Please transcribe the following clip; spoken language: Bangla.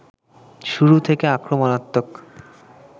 শুরু থেকে আক্রমণাত্মক